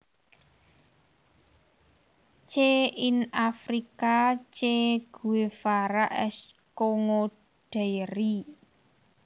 Che in Africa Che Guevara s Congo Diary